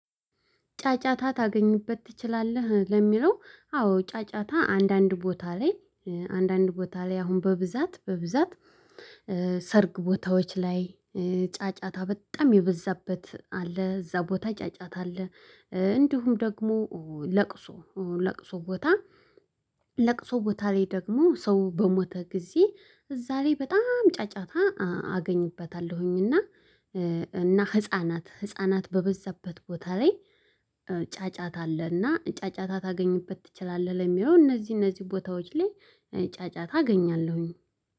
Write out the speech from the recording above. ጫጫታ ታገኝበት ትችላለህ ለሚለው አዎ ጫጫታ አንዳንድ ቦታ ላይ አንዳንድ ቦታ ላይ አሁን በብዛት በብዛት ሰርግ ቦታዎች ላይ ጫጫታ በጣም የበዛበት አለ። እዛ ቦታ ጫጫታ አለ። እንዲሁም ደግሞ ለቅሶ ለቅሶ ቦታ ለቅሶ ቦታ ላይ ደግሞ ሰው በሞተ ጊዜ እዛ ላይ በጣም ጫጫታ አገኝበታለሁኝና። እና ህፃናት ህፃናት በበዛበት ቦታ ላይ። ጫጫታ አለና ጫጫታ ታገኝበት ትችላለህ ለሚለው እነዚህ እነዚህ ቦታዎች ላይ ጫጫታ አገኛለሁኝ